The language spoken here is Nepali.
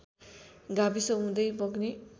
गाविस हुँदै बग्ने